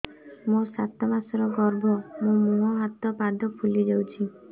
ମୋ ସାତ ମାସର ଗର୍ଭ ମୋ ମୁହଁ ହାତ ପାଦ ଫୁଲି ଯାଉଛି